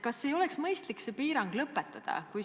Kas ei oleks mõistlik see piirang lõpetada?